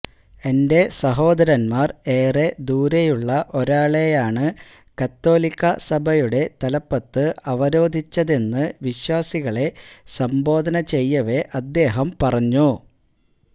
എന്റെ സഹോദരന്മാര് ഏറെ ദൂരെയുള്ള ഒരാളെയാണ് കത്തോലിക്കാ സഭയുടെ തലപ്പത്ത് അവരോധിച്ചതെന്ന് വിശ്വാസികളെ സംബോധന ചെയ്യവെ അദ്ദേഹം പറഞ്ഞു